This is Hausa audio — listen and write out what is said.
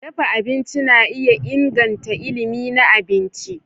Dafa abinci na iya inganta ilimi na abinci.